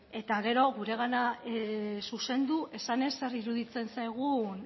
eta gero guregana zuzendu esanez zer iruditzen zaigun